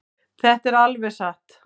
Þetta er alveg satt.